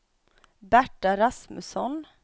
Berta Rasmusson